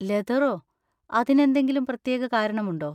ലെതറോ? അതിനെന്തെങ്കിലും പ്രത്യേക കാരണം ഉണ്ടോ?